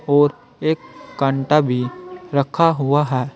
और एक कांटा भी रखा हुआ है।